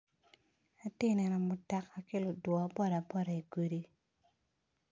Atye neno mutoka ki ludwo boda boda i gudi.